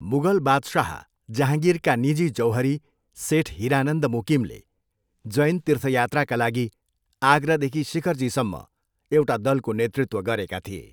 मुगल बादशाह जहाँगिरका निजी जौहरी सेठ हिरानन्द मुकिमले जैन तीर्थयात्राका लागि आगरादेखि शिखरजीसम्म एउटा दलको नेतृत्व गरेका थिए।